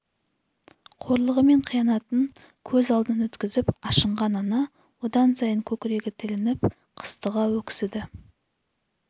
қорлығы мен қиянатын көз алдынан өткізіп ашынған ана одан сайын көкірегі тілініп қыстыға өксіді